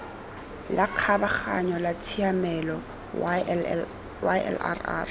la kgabaganyo la tshiamelo ylrr